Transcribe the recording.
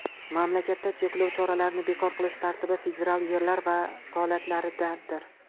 Mamlakatda cheklov choralarini bekor qilish tartibi federal yerlar vakolatidadir.